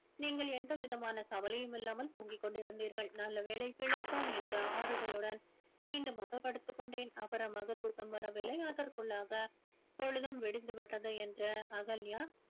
நீங்கள் எந்த விதமான கவலையும் இல்லாமல் தூங்கிக் கொண்டிருந்தீர்கள் நல்லவேளை பிழைத்தோம் என்ற ஆறுதலுடன் மீண்டுமாக படுத்துக் கொண்டேன் அப்புறமாக தூக்கம் வரவில்லை அதற்குள்ளாக பொழுதும் விடிந்து விட்டது என்ற அகல்யா